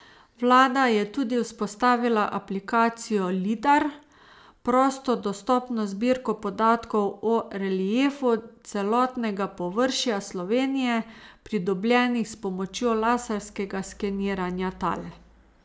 Vlada je tudi vzpostavila aplikacijo Lidar, prosto dostopno zbirko podatkov o reliefu celotnega površja Slovenije, pridobljenih s pomočjo laserskega skeniranja tal.